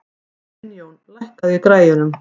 Sveinjón, lækkaðu í græjunum.